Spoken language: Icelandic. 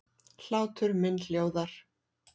Hlátur minn hljóðar.